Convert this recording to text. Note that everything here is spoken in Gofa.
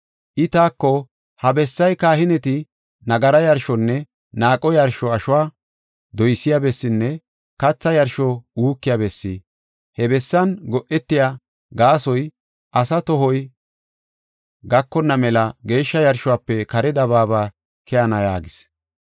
I taako, “Ha bessay kahineti nagara yarshonne naaqo yarsho ashuwa doysiya bessinne katha yarsho uukiya bessi. He bessan go7etiya gaasoy asaa qohoy gakonna mela geeshsha yarshuwafe kare dabaaba keyenna” yaagis.